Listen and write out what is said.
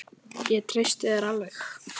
Ég treysti þér alveg!